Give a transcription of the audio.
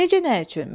Necə nə üçün?